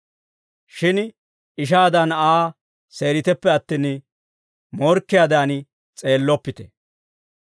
Shin ishaadan Aa seeriteppe attin, morkkiyaadan s'eelloppite.